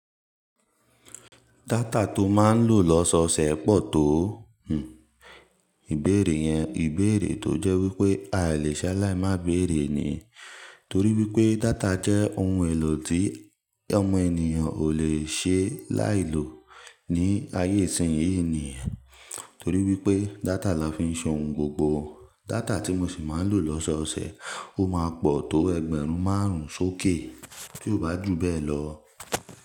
Data tó máa ń lò lọ́sọ̀ọ̀sẹ̀ pọ̀ tó, hnm, ìbéèrè yẹn ìbéèrè tó jẹ́ wípé a lè ṣẹ́ láì má béèrè ni, torí wípé data jẹ́ ohun èlò tí ọmọ ènìyàn ò lè ṣe láì lò ní ayé ìsìn yìí ni, torí wípé data la fi ń ṣe ohun gbogbo. Data tí mo sì máa ń lò lọ́sọ̀ọ̀sẹ̀ ó máa pọ̀ tó ẹgbẹ̀rún márùn-ún sókè, ti oó bá jù bẹ́ẹ̀ lọ.